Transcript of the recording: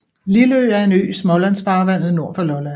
Lilleø er en ø i Smålandsfarvandet nord for Lolland